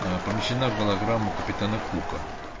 ээ помещена в голограмму капитана кука